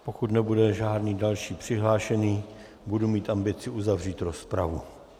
Pokud nebude žádný další přihlášený, budu mít ambici uzavřít rozpravu.